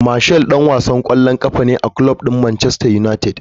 Martial dan wasan kwallon kafa ne a kulob din Manchester United.